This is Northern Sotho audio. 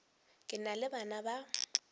ke na le bana ba